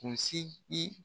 Kunsi yi